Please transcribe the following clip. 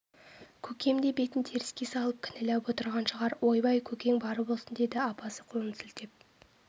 көкем де бетін теріске салып кінәләп отырған шығар ойбай көкең бар болсын деді апасы қолын сілтеп